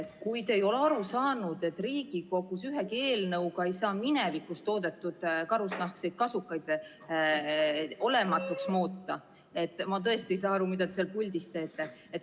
Kui te ei ole aru saanud, et Riigikogus ei saa ühegi eelnõuga minevikus toodetud karusnahkseid kasukaid olematuks muuta, siis ma tõesti ei saa aru, mida te seal puldis teete.